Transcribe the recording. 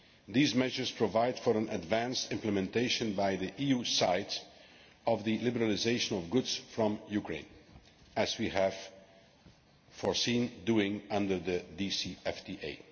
These measures provide for an advanced implementation by the EU of the liberalisation of goods from Ukraine, as we have foreseen doing under the DCFTA.